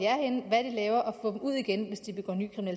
laver og få dem ud igen hvis de begår ny